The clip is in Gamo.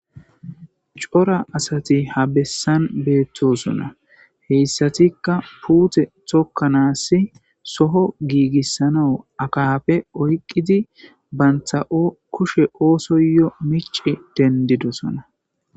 cora asati ha bessan beettosona heyssatikka puute tokkanassi soho giigissanao akafe oyqqidi bantha7o kushe oosoyo mici dendidosona